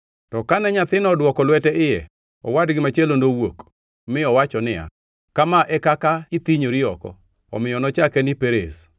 To kane nyathino odwoko lwete iye, owadgi machielo nowuok mi owacho niya, “Kama e kaka ithinyori oko!” Omiyo nochake ni Perez. + 38:29 Perez tiende ni muomruok.